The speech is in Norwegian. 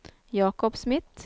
Jakob Smith